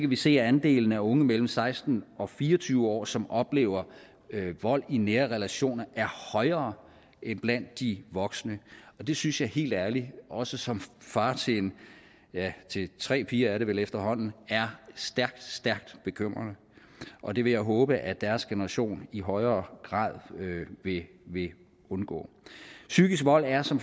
vi se at andelen af unge mellem seksten og fire og tyve år som oplever vold i nære relationer er højere end blandt de voksne og det synes jeg helt ærligt også som far til ja tre piger er det vel efterhånden er stærkt stærkt bekymrende og det vil jeg håbe at deres generation i højere grad vil undgå psykisk vold er som